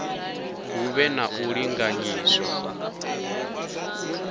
hu vhe na u linganyiswa